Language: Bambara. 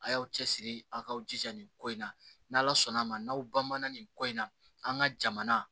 A y'aw cɛsiri aw k'aw jija nin ko in na n'ala sɔnn'a ma n'aw banana nin ko in na an ka jamana